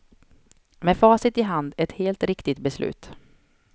Med facit i hand ett helt riktigt beslut.